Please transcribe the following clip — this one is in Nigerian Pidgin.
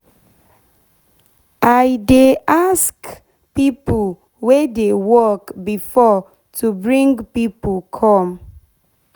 i dey ask de pipo wey dey work before to bring pipo come